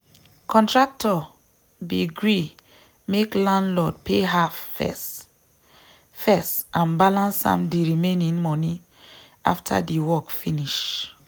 contractor be gree make landlord pay half first first and balance am de remaining money after de work finish